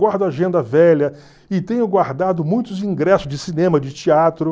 Guardo agenda velha e tenho guardado muitos ingressos de cinema, de teatro.